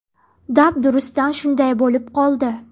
Dabdurustdan shunday bo‘lib qoldi.